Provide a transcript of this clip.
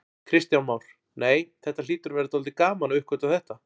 Kristján Már: Nei, þetta hlýtur að vera dálítið gaman að uppgötva þetta?